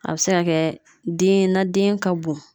A bɛ se ka kɛ den, na den ka bon .